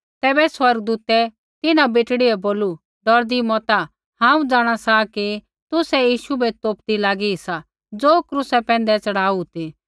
तैबै स्वर्गदूतै तिन्हां बेटड़ी बै बोलू डौरदी मता हांऊँ जाँणा सा कि तुसै यीशु बै तोपदी लागी सी ज़ो क्रूसा पैंधै च़ढ़ाऊ ती